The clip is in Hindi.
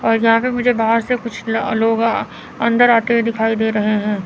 और यहां पे मुझे बाहर से कुछ ल लोग आ अंदर आते हुए दिखाई दे रहे हैं।